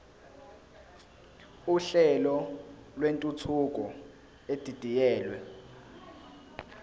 uhlelo lwentuthuko edidiyelwe